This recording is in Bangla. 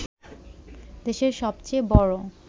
দেশের সবচেয়ে বড়